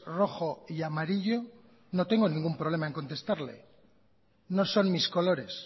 rojo y amarillo no tengo ningún problema en contestarle no son mis colores